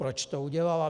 Proč to udělala?